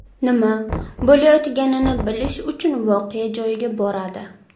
nima bo‘layotganini bilish uchun voqea joyiga boradi.